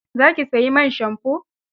Za ki sayi man shamfo?